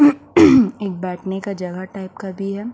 एक बैठने का जगह टाइप का भी है।